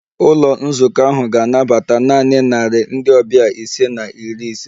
Ụlọ nzukọ ahụ ga-anabata naanị narị ndị ọbịa ise na iri ise